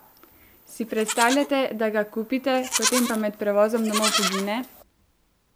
Si predstavljate, da ga kupite, potem pa med prevozom domov pogine?